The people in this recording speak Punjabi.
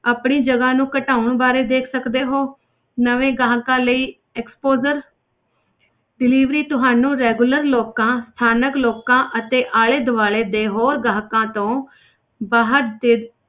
ਆਪਣੀ ਜਗ੍ਹਾ ਨੂੰ ਘਟਾਉਣ ਬਾਰੇ ਦੇਖ ਸਕਦੇ ਹੋ ਨਵੇਂ ਗਾਹਕਾਂ ਲਈ exposers delivery ਤੁਹਾਨੂੰ regular ਲੋਕਾਂ ਸਥਾਨਕ ਲੋਕਾਂ ਅਤੇ ਆਲੇ ਦੁਆਲੇ ਦੇ ਹੋਰ ਗਾਹਕਾਂ ਤੋਂ ਬਾਹਰ ਦੇ